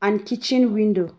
and kitchen window